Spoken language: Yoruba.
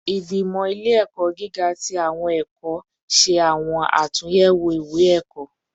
Igbimọ ile-ẹkọ giga ti awọn ẹkọ ẹkọ ṣe awọn atunyẹwo iwe-ẹkọ